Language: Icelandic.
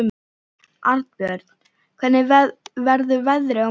Arnbjörn, hvernig verður veðrið á morgun?